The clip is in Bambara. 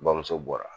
Bamuso bɔra